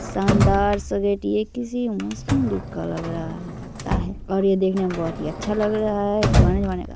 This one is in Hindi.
शानदार सजीटी ये किसी मुस्लिम लोग का लग रहा है लगता है और ये देखने मे बहुत ही अच्छा लग रहा है पुराने जमाने का--